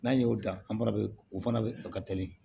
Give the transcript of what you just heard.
N'an y'o dan an fana be o fana ka teli